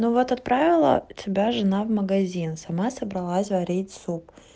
ну вот отправила тебя жена в магазин сама собралась варить суп